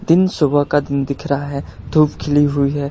दिन सुबह का दिन दिख रहा है धूप खिली हुई है।